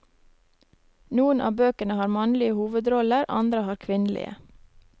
Noen av bøkene har mannlige hovedroller, andre har kvinnelige.